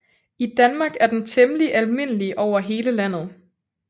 I Danmark er den temmelig almindelig over hele landet